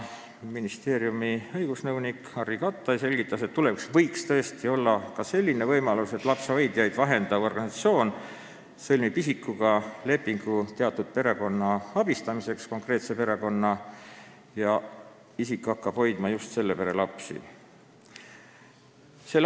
Ministeeriumi õigusnõunik Harry Kattai selgitas, et tulevikus võiks tõesti olla ka selline võimalus, et lapsehoidjaid vahendav organisatsioon sõlmib isikuga lepingu konkreetse perekonna abistamiseks ja isik hakkab hoidma just selle pere lapsi.